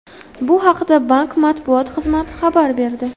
Bu haqda bank matbuot xizmati xabar berdi .